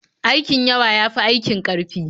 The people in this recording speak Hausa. Aikin yawa ya fi aikin ƙarfi.